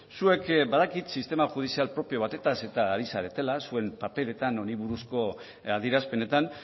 zuek badakit sistema judizial propio batez eta ari zaretela zuen paperetan honi buruzko adierazpenetan